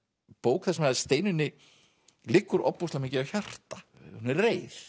bók þar sem Steinunni liggur ofboðslega mikið á hjarta hún er reið